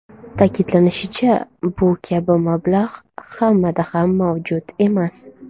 Ta’kidlanishicha, bu kabi mablag‘ hammada ham mavjud emas.